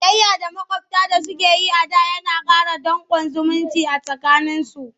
Ciyayya da maƙwabta suke yi a da na sa danƙon zumunci a tsakaninsu.